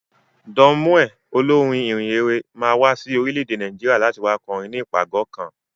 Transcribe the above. Don Moen, Olórin ìhìnrere, máa wá sí orílẹ̀-èdè Nàìjíríà, láti wá kọrin ni ìpàgọ́ kan.